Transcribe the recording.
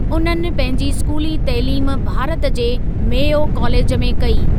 उन्हनि पंहिंजी स्कूली तइलीम भारत जे मेयो कॉलेज में कई।